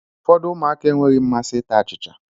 Ụfọdụ ụmụaka enweghị mmasị ịta achịcha